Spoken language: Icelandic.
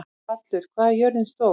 Hallur, hvað er jörðin stór?